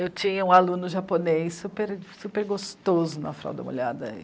Eu tinha um aluno japonês super, super gostoso na Fralda Molhada.